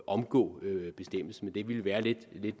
omgå bestemmelsen men det ville være lidt